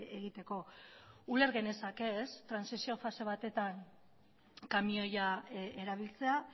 egiteko uler genezake trantsizio fase batetan kamioia erabiltzea